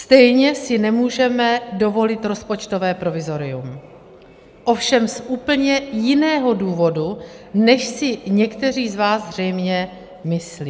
Stejně si nemůžeme dovolit rozpočtové provizorium, ovšem z úplně jiného důvodu, než si někteří z vás zřejmě myslí.